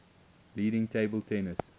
leading table tennis